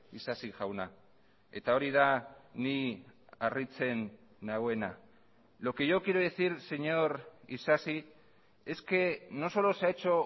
isasi jauna eta hori da ni harritzen nauena lo que yo quiero decir señor isasi es que no solo se ha hecho